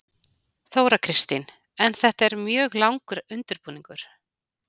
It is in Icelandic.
Þóra Kristín: En þetta er mjög langur undirbúningur?